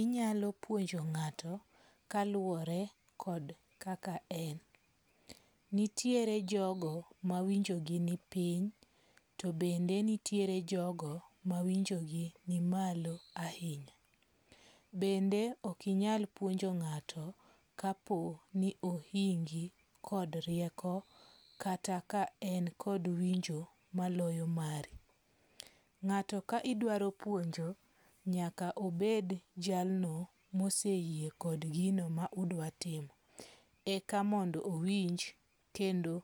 Inyalo puonjo ngato kaluwore kod kaka en. Nitiere jogo ma winjogi ni piny. To bende nitiere jogo ma winjo gi ni malo ahinya. Bende ok inyal puonjo ng'ato kapo ni ohingi kod rieko kata ka en kod winjo maloyo mari. Ng'ato ka idwaro puonjo nyaka obed jalno moseyie kod gino ma udwa timo. Eka mondo owinj kendo